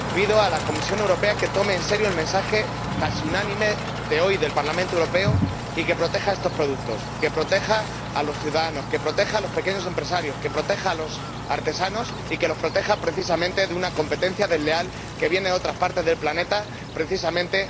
Pido a la Comisión Europea que tome en serio el mensaje —casi unánime— enviado hoy por el Parlamento Europeo y que proteja estos productos, que proteja a los ciudadanos, que proteja a los pequeños empresarios, que proteja a los artesanos, y que los proteja precisamente de una competencia desleal que viene de otras partes del planeta y que les da justamente